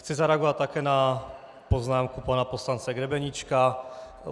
Chci zareagovat také na poznámku pana poslance Grebeníčka.